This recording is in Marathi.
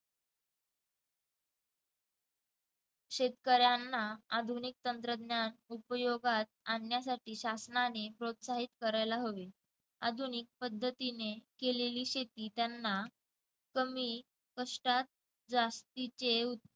शेतकऱ्यांना आधुनिक तंत्रज्ञान उपयोगात आणण्यासाठी शासनाने प्रोत्साहित करायला हवे आधुनिक पद्धतीने केलेली शेती त्यांना कमी कष्टात जास्तीचे उत्प